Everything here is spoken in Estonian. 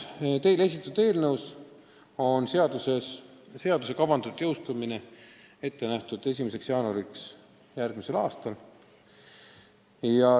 Teile esitatud eelnõus on seadus kavandatud jõustuma 1. jaanuaril järgmisel aastal.